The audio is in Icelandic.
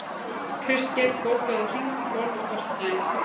Kristgeir, bókaðu hring í golf á föstudaginn.